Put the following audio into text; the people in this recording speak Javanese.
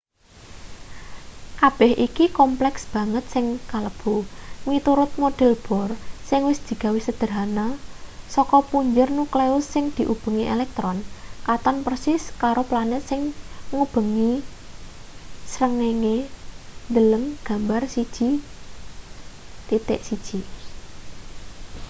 kabeh iki kompleks banget sing kalebu miturut model bohr sing wis digawe sedehana saka punjer nukleus sing diubengi elektron katon persis karo planet sing ngubengi srengenge deleng gambar 1.1